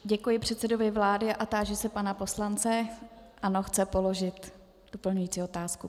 Děkuji předsedovi vlády a táži se pana poslance - ano, chce položit doplňující otázku.